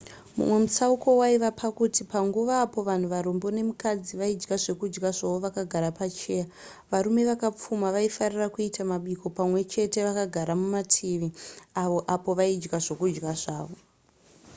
mumwe mutsauko waive pakuti panguva apo vanhu varombo nemukadzi vaidya zvekudya zvavo vakagara pamacheya varume vakapfuma vaifarira kuita mabiko pamwe chete vakagara mumativi avo apo vaidya zvokudya zvavo